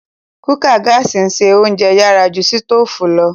Kùkàa gààsi n se ounjẹ yàrà ju sitoofù lo.